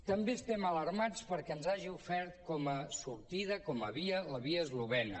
també estem alarmats perquè ens hagi ofert com a sortida com a via la via es·lovena